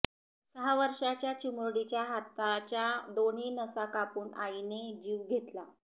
सहा वर्षांच्या चिमुरडीच्या हाताच्या दोन्ही नसा कापून आईने जीव घेतला